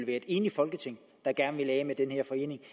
et enigt folketing der gerne vil af med den her forening